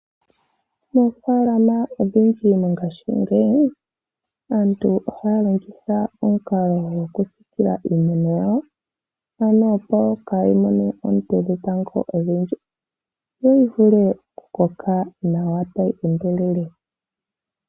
Moofaalama odhindji mongayingeyi aantu ohaya longitha omukalo gokusiikila iimeno yawo opo kaayi mone oonte dhetango odhindji, yo yi vule oku koka nawa tayi endelele.